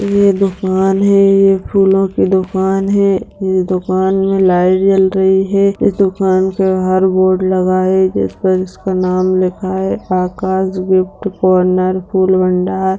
ये दोकान है ये फूलों की दोकान है | दोकान में लाइट जल रही है । दोकान के बाहर बोर्ड लगा है जिस पर इसका नाम लिखा है आकाश गिफ्ट कॉर्नर फूल भंडार---